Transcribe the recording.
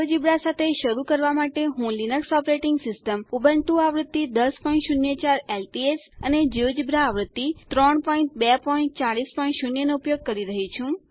GeoGebra સાથે શરુ કરવા માટે હું લીનક્સ ઓપરેટિંગ સિસ્ટમ ઉબુન્ટુ આવૃત્તિ 1004 એલટીએસ અને જિયોજેબ્રા આવૃત્તિ 32400 નો ઉપયોગ કરી રહી છું